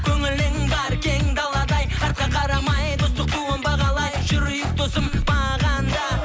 көңілің бар кең даладай артқа қарамай достық туын бағалай жүрейік досым бағанда